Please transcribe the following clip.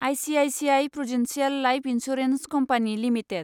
ICICI Prudential Life Insurance Company limited